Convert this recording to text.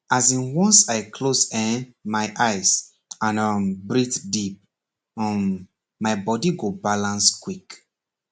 as in once i close[um]my eyes and um breathe deep um my body go balance quick